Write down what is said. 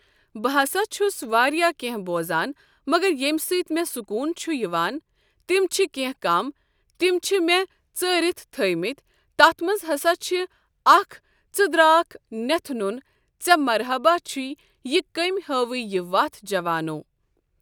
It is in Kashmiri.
بہٕ ہسا چھس واریاہ کینٛہہ بوزان مگر ییٚمہِ سۭتۍ مےٚ سکون چھُ یِوان تِم چھِ کینٛہہ کم تِم چھِ مےٚ ژٲرِتھ تھٲمٕتۍ تتھ منٛز ہسا چھِ اکھ ژٕ درٛاکھ نیٚتھ نوٚن ژےٚ مرحبا چھُے یہِ کٔمۍ ہٲوے یہِ وتھ جوانو۔